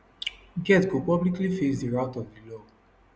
get go publicly face di wrath of di law